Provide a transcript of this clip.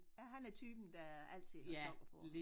Ja han er typen der altid har sokker på